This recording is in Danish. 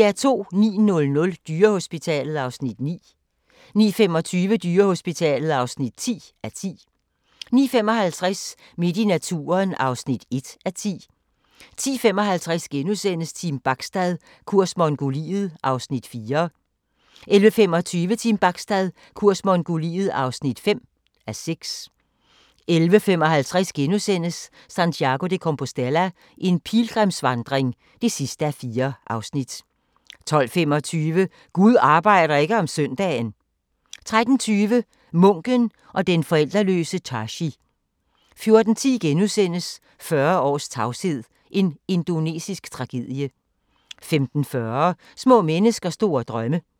09:00: Dyrehospitalet (9:10) 09:25: Dyrehospitalet (10:10) 09:55: Midt i naturen (1:10) 10:55: Team Bachstad – kurs Mongoliet (4:6)* 11:25: Team Bachstad – kurs Mongoliet (5:6) 11:55: Santiago de Compostela – en pilgrimsvandring (4:4)* 12:25: Gud arbejder ikke om søndagen! 13:20: Munken og den forældreløse Tashi 14:10: 40 års tavshed – en indonesisk tragedie * 15:40: Små mennesker store drømme